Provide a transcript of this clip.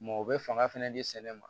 Mɔ u bɛ fanga fana di sɛnɛ ma